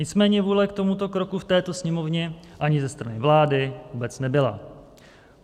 Nicméně vůle k tomuto kroku v této Sněmovně ani ze strany vlády vůbec nebyla.